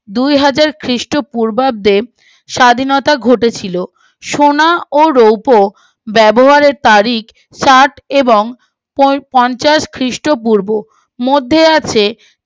দু হাজার খ্রীষ্ট পূর্বাব্দে স্বাধীনতা ঘটেছিল সোনা ও রৌপ ব্যবহারের তারা তারিখ ষাট এবং পঞ্চাশ খ্রীষ্ট পূর্ব মধ্যে আছে